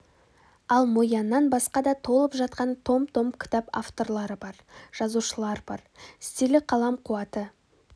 ал мо яннан басқа да толып жатқан том-том кітап авторлары бар жазушылар бар стилі қалам қуаты